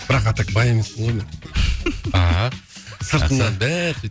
бірақ а так бай емеспін ғой мен ааа сыртымнан бәрі